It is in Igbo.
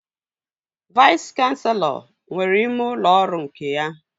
Vais kanselọ nwere ime ụlọ ọrụ nke ya